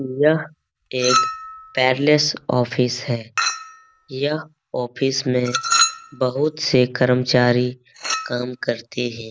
यह एक paperless office है। यह ऑफिस में बहुत से कर्मचारी काम करते है।